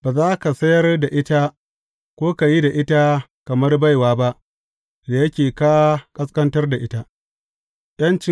Ba za ka sayar da ita ko ka yi da ita kamar baiwa ba, da yake ka ƙasƙantar da ita.